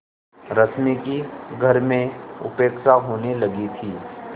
रश्मि की घर में उपेक्षा होने लगी थी